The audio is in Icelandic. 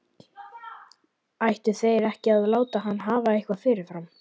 Ættu þeir ekki að láta hann hafa eitthvað fyrirfram?